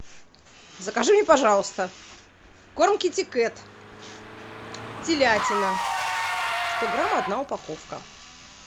закажи мне пожалуйста корм китикет телятина сто грамм одна упаковка